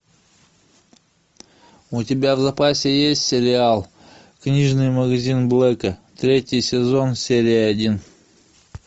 у тебя в запасе есть сериал книжный магазин блэка третий сезон серия один